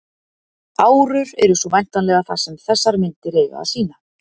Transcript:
árur eru svo væntanlega það sem þessar myndir eiga að sýna